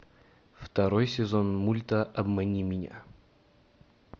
второй сезон мульта обмани меня